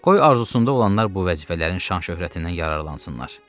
Qoy arzusunda olanlar bu vəzifələrin şan-şöhrətindən yararlansınlar.